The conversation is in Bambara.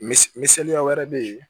Mis misɛnniya wɛrɛ bɛ yen